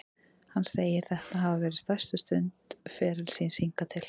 Hann segir þetta hafa verið stærstu stund ferils síns hingað til.